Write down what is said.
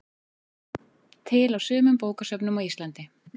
Til á sumum bókasöfnum á Íslandi.